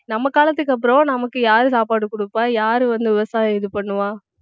நம்ம காலத்துக்கு அப்புறம் நமக்கு யாரு சாப்பாடு குடுப்பா யாரு வந்து விவசாயம் இது பண்ணுவா